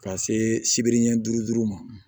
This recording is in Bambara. Ka se sibiri ɲɛ duuru ma